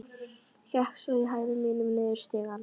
Gekk svo í hægðum mínum niður stigann.